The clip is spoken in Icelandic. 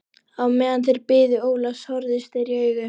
Á meðan þeir biðu Ólafs horfðust þeir í augu.